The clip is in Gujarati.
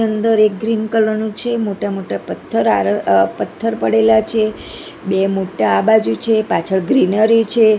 અંદર એક ગ્રીન કલર નો છે મોટા મોટા પથ્થર આર પથ્થર પડેલા છે બે મોટા આ બાજુ છે પાછળ ગ્રીનરી છે.